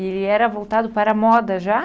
Ele era voltado para a moda já?